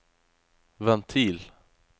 ventil